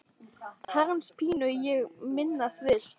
Herrans pínu ég minnast vil.